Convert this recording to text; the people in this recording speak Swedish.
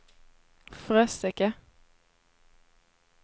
Fröseke